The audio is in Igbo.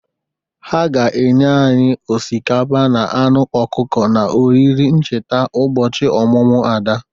Ha ga-enye anyị osikapa na anụ ọkụkọ n'oriri ncheta ụbọchị ọmụmụ Ada.